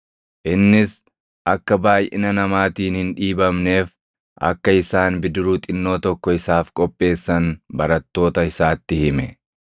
Innis akka baayʼina namaatiin hin dhiibamneef akka isaan bidiruu xinnoo tokko isaaf qopheessan barattoota isaatti hime.